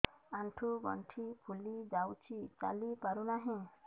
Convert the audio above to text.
ଆଂଠୁ ଗଂଠି ଫୁଲି ଯାଉଛି ଚାଲି ପାରୁ ନାହିଁ